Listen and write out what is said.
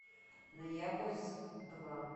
ноябрьск два